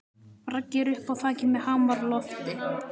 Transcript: Raggi er uppi á þaki með hamar á lofti.